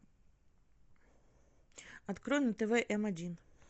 открой на тв м один